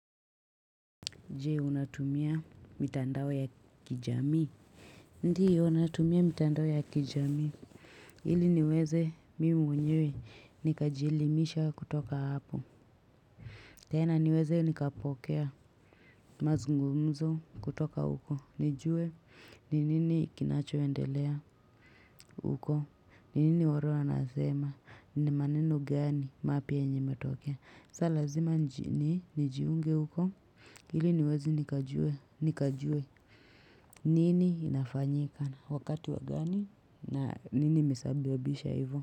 Jee, unatumia mitandao ya kijamii. Ndio, natumia mitandao ya kijamii. Hili niweze, mi mwenyewe, nikajilimisha kutoka hapo. Tena niweze, nikapokea, mazungumzo kutoka uko. Nijue, ninini kinachoendelea uko. Ninini waro anasema, nimaneno gani mapi enji metokea. Salazima, njiunge uko. Hili niweze, nikajue. Nikajue nini inafanyika. Wakati wagani. Nini misabi wabisha hivyo.